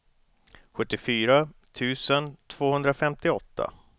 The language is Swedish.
sjuttiofyra tusen tvåhundrafemtioåtta